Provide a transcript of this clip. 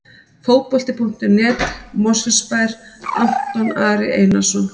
Fótbolti.net, Mosfellsbær- Anton Ari Einarsson.